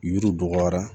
Yiriw bɔgɔra